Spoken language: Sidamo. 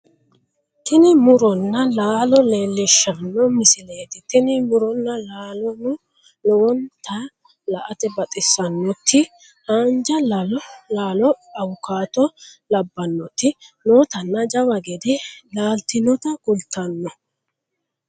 tini muronna laalo leellishshanno misileeti tini muronna laalono lowonta la"ate baxissannoti haanja laalo awukaato labbannoti nootanna jawa gede laaltinota kultanote